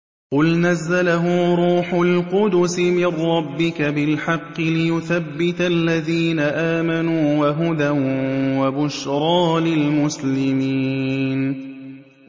قُلْ نَزَّلَهُ رُوحُ الْقُدُسِ مِن رَّبِّكَ بِالْحَقِّ لِيُثَبِّتَ الَّذِينَ آمَنُوا وَهُدًى وَبُشْرَىٰ لِلْمُسْلِمِينَ